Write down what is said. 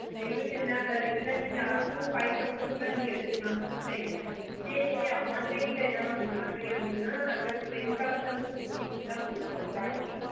எங்களுக்கு இதுல இதுல நீங்க upto five thousand குள்ள எடுத்துக்கலாம் பிரச்சன இல்ல இத நீங்க online ல book பண்ணறீங்க அப்புடின்னா நாங்க ten thousand rupees குத்தான் கொடுப்போம் starting எஹ்